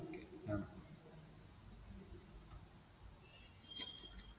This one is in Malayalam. okay ആ